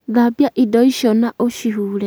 thambia Indo icio na ũcihuure